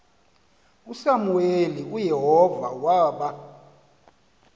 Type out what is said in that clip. usamuweli uyehova waba